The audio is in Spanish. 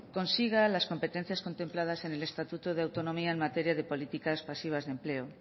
consiga las competencias contempladas en el estatuto de autonomía en materia de políticas pasivas de empleo